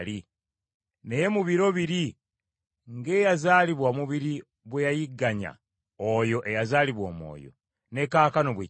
Naye mu biro biri ng’eyazaalibwa omubiri bwe yayigganya oyo eyazaalibwa Omwoyo, ne kaakano bwe kiri.